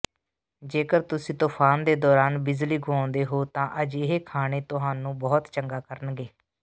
ਜੇਕਰ ਤੁਸੀਂ ਤੂਫਾਨ ਦੇ ਦੌਰਾਨ ਬਿਜਲੀ ਗੁਆਉਂਦੇ ਹੋ ਤਾਂ ਅਜਿਹੇ ਖਾਣੇ ਤੁਹਾਨੂੰ ਬਹੁਤ ਚੰਗਾ ਕਰਨਗੇ